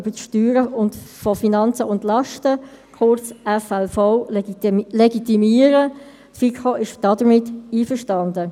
Ich hoffe, Sie haben alle den Weg durch den «Zibelemärit»-Rummel hierher ins Rathaus gut überstanden.